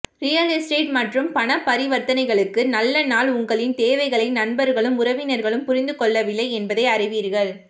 real estate மற்றும் பண பரிவர்த்தனைகளுக்கு நல்ல நாள் உங்களின் தேவைகளை நண்பர்களும் உறவினர்களும் புரிந்து கொள்ளவில்லை என்பதை அறிவீர்கள்